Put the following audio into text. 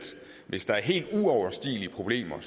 hvis der er helt uoverstigelige problemer